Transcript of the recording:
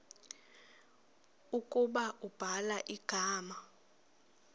ukuba ubhala igama